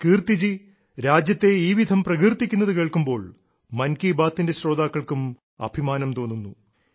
കീർത്തിജി രാജ്യത്തിനെ ഈ വിധം പ്രകീർത്തിക്കുന്നതു കേൾക്കുമ്പോൾ മൻ കി ബാത്തിന്റെ ശ്രോതാക്കൾക്കും അഭിമാനം തോന്നുന്നു